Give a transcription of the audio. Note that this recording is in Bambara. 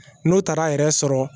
N'u taara a yɛrɛ sɔrɔ